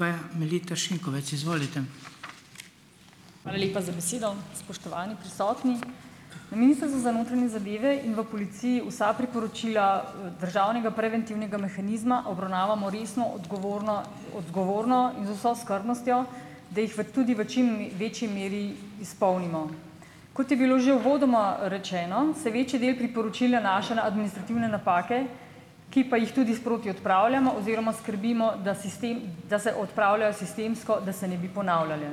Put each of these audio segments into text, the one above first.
Hvala lepa za besedo. Spoštovani prisotni. Na Ministrstvu za notranje zadeve in v policiji vsa priporočila, državnega preventivnega mehanizma obravnavamo resno, odgovorno odgovorno in z vso skrbnostjo, da jih v tudi v večji meri izpolnimo. Kot je bilo že uvodoma rečeno, se večji del priporočil nanaša na administrativne napake, ki pa jih tudi sproti odpravljamo oziroma skrbimo, da sistem, da se odpravljajo sistemsko, da se ne bi ponavljale.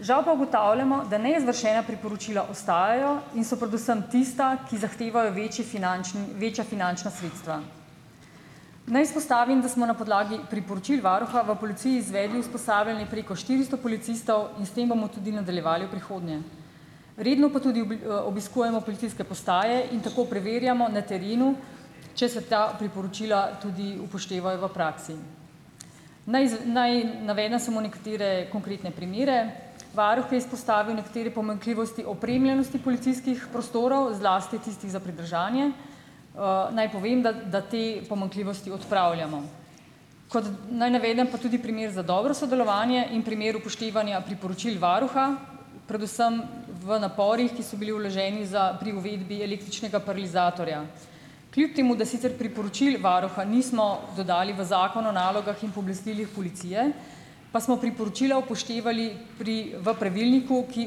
Žal pa ugotavljamo, da neizvršena priporočila ostajajo, in so predvsem tista, ki zahtevajo večji finančni večja finančna sredstva. Naj izpostavim, da smo na podlagi priporočil varuha v policiji izvedli usposabljanje preko štiristo policistov, in s tem bomo tudi nadaljevali v prihodnje. Redno pa tudi obiskujemo policijske postaje in tako preverjamo na terenu, če se ta priporočila tudi upoštevajo v praksi. Naj naj navedem samo nekatere konkretne primere. Varuh je izpostavil nekatere pomanjkljivosti opremljenosti policijskih prostorov, zlasti tistih za pridržanje. Naj povem, da te pomanjkljivosti odpravljamo. Kot. Naj navedem pa tudi primer za dobro sodelovanje in primer upoštevanja priporočil varuha, predvsem v naporih, ki so bili vloženi za pri uvedbi električnega paralizatorja. Kljub temu da sicer priporočil varuha nismo dodali v Zakon o nalogah in pooblastilih policije, pa smo priporočila upoštevali pri v pravilniku, ki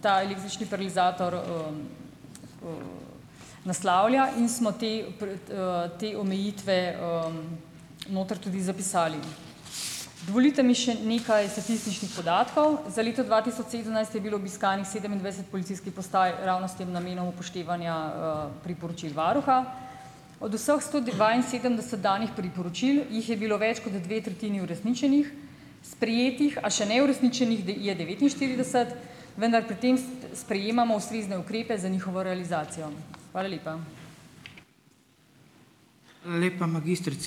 ta električni paralizator, naslavlja, in smo te pred, te omejitve, noter tudi zapisali. Dovolite mi še nekaj statističnih podatkov. Za leto dva tisoč sedemnajst je bilo obiskanih sedemindvajset policijskih postaj ravno s tem namenom upoštevanja, priporočil varuha. Od vseh sto dvainsedemdeset danih priporočil jih je bilo več kot dve tretjini uresničenih, sprejetih, a še ne uresničenih je devetinštirideset, vendar pri tem sprejemamo ustrezne ukrepe za njihovo realizacijo. Hvala lepa.